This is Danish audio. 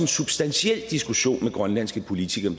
substantiel diskussion med grønlandske politikere